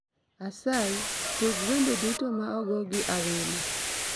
Asayi, tug wende duto ma ogo gi Awino